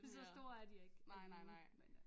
Så store er de ikke alligevel men øh